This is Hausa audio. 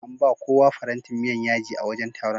An bawa kowa farantin miyan yaji a wajen taron